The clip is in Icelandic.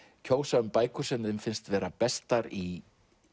kjósa um bækur sem þeim finnst vera bestar í